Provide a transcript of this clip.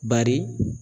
Bari